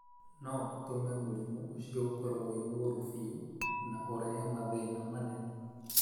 no gũtũme mũrimũ ũcio ũkorwo wĩ mũru biũ na ũrehe mathĩna manene.